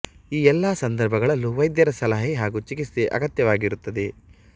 ಈ ಎಲ್ಲಾ ಸಂದರ್ಭಗಳಲ್ಲೂ ವೈದ್ಯರ ಸಲಹೆ ಹಾಗೂ ಚಿಕಿತ್ಸೆ ಅಗತ್ಯವಾಗಿರುತ್ತದೆ